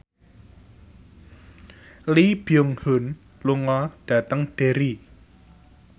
Lee Byung Hun lunga dhateng Derry